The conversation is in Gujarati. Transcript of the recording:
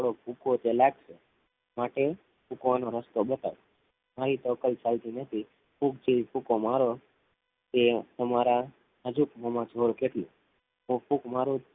ફૂક વાનું રસતું બતાએ હાઇ થી થો કઈ ફએધો નથી ફૂક જ્ર્વિ ફૂકો મારો યે તમારા જૂર કેટલું ફૂક મારૂ થો